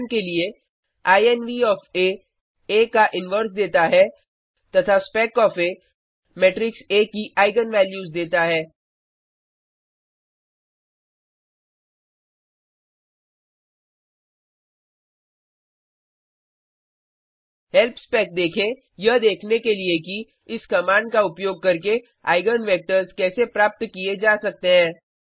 उदाहरण के लिए इन्व ओएफ आ आ का इनवर्स देता है तथा spec of A matrix A की आईगन वैल्यूज देता है हेल्प स्पेक देखें यह देखने के लिए कि इस कमांड का उपयोग करके आईगन वेक्टर्स कैसे प्राप्त किए जा सकते हैं